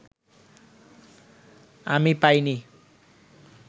আমি পাইনি